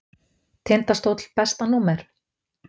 Tindastóll Besta númer?